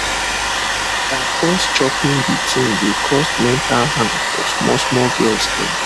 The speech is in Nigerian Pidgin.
by force choping the thing dey cause mental harm for small small girls them